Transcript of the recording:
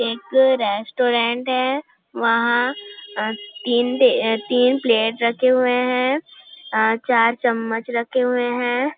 एक रेस्टोरेंट है वहाँ तीन ते आ तीन प्लेट रखे हुए है आ चार चमच्च रखे हुए हैं ।